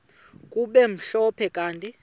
kube mhlophe kanti